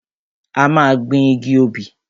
A máa gbin igi obì.